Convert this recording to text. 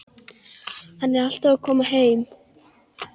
Hann er alltaf að koma heim.